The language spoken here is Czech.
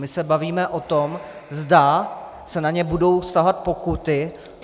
My se bavíme o tom, zda se na ně budou vztahovat pokuty.